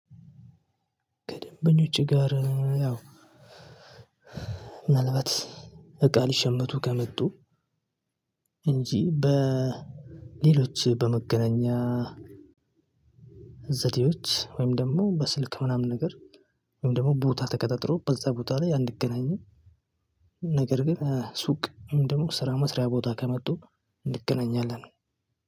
ከደንበኞቼ ጋር ያው ምናልባት እቃ ሊሸምቱ ከመጡ እንጂ በሌሎች በመገናኛ ዘዴዎች ወይም ደግሞ በስልክ ምናምን ነገር ወይም ደግሞ ቦታ ተቀጣጥሮ በዛ ቦታ ላይ አንገናኝም። ነገር ግን ሱቅ ወይም ደግሞ ስራ መስሪያ ቦታ ከመጡ እንገናኛለን።